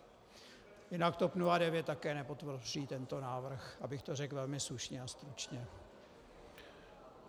Jinak TOP 09 také nepodpoří tento návrh, abych to řekl velmi slušně a stručně.